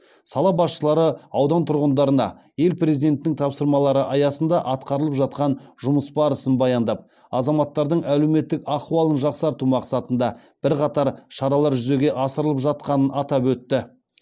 сала басшылары аудан тұрғындарына ел президентінің тапсырмалары аясында атқарылып жатқан жұмыс барысын баяндап азаматтардың әлеуметтік ахуалын жақсарту мақсатында бірқатар шаралар жүзеге асырылып жатқанын атап өтті